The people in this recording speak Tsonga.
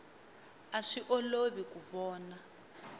a swi olovi ku vona